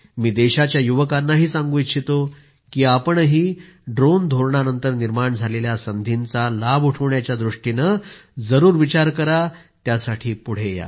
मी देशाच्या युवकांनाही सांगू इच्छितो की तुम्हीही ड्रोन धोरणानंतर निर्माण झालेल्या संधींचा लाभ उठविण्याच्या दृष्टीने जरूर विचार करा त्यासाठी पुढे या